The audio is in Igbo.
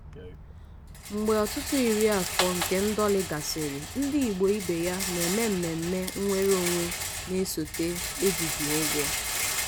"mgbe ọtụtụ iri afọ nke ndọli gasịrị ndị igbo ibe ya na-eme mmemme nnwere onwe na-esote ejighi ụgwọ."